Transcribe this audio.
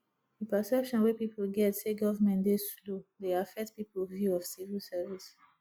the perception wey pipo get sey government dey slow dey affect pipo view of civil service